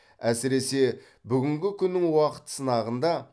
әсіресе бүгінгі күннің уақыт сынағында